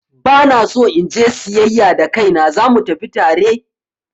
Ba na so in je siyayya da kaina, za mu tafi tare?